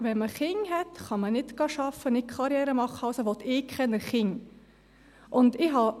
Wenn man Kinder hat, kann man nicht arbeiten, nicht Karriere machen, also will ich keine Kinder.